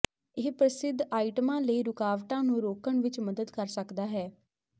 ਇਹ ਪ੍ਰਸਿੱਧ ਆਈਟਮਾਂ ਲਈ ਰੁਕਾਵਟਾਂ ਨੂੰ ਰੋਕਣ ਵਿੱਚ ਮਦਦ ਕਰ ਸਕਦਾ ਹੈ